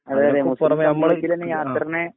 അതിനെ കുറിച്ച് ആ